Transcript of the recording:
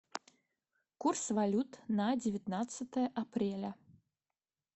курс валют на девятнадцатое апреля